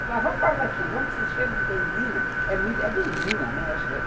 Eu falava, vai embora daqui, vamos que esse cheiro de benzina... É benzina, né?